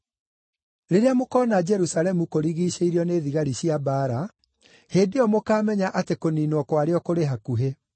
“Rĩrĩa mũkoona Jerusalemu kũrigiicĩirio nĩ thigari cia mbaara, hĩndĩ ĩyo mũkaamenya atĩ kũniinwo kwarĩo kũrĩ hakuhĩ.